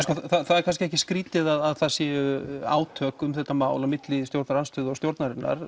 er kannski ekki skrítið að það séu átök um þetta mál á milli stjórnarandstöðu og stjórnarinnar